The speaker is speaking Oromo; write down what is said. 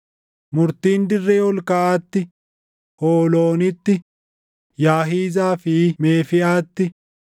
Murtiin dirree ol kaʼaatti: Hooloonitti, Yaahizaa fi Meefiʼaatti,